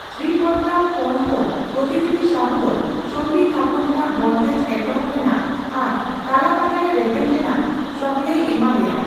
ᱥᱨᱤᱯᱚᱛᱨᱟᱣ ᱯᱚᱱᱛᱚ ᱯᱨᱚᱛᱤᱱᱤᱫᱷᱤ ᱥᱟᱦᱩ ᱫᱚ ᱥᱚᱱᱫᱷᱤ ᱛᱷᱟᱯᱚᱱ ᱨᱮᱱᱟᱜ ᱵᱚᱱᱫᱮᱡ ᱮᱛᱦᱵᱚ ᱨᱮᱱᱟᱜ ᱟᱨ ᱛᱟᱞᱟᱢᱟᱞᱟᱨᱮ ᱨᱮᱵᱮᱱ ᱨᱮᱱᱟᱜ ᱥᱚᱦᱚᱞᱮᱭ ᱮᱢᱟ ᱫᱮᱭᱟ ᱾